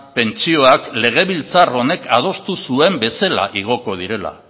pentsioak legebiltzar honek adostu zuen bezala igoko direla